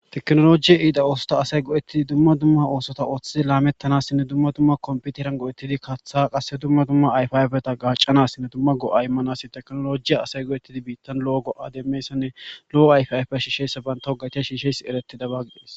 Teknolojiya iida oosota asay go7ettidi dumma dumma oosota ooththi laamettanassinne dumma dumma komputeran go7ettidi kaththa qasse dumma dumma ayfiayfeta gaccanassinne dumma go7a immanasi teknolojiya asay go7ettidi biittan lo'o go'a demessanne lo'o ayfiayfe shishesa banta ho gatiya shiishes eretida baggidees.